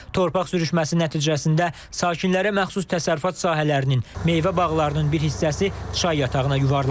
Torpaq sürüşməsi nəticəsində sakinlərə məxsus təsərrüfat sahələrinin, meyvə bağlarının bir hissəsi çay yatağına yuvarlanıb.